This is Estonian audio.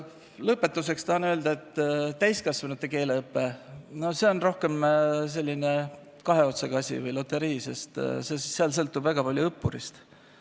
Lõpetuseks tahan öelda, et täiskasvanute keeleõpe on rohkem selline kahe otsaga asi või loterii, sest seal sõltub väga palju õppurist endast.